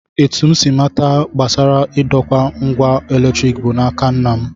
Etu m si mata gbasara idokwa ngwa eletrik bụ n'aka nna m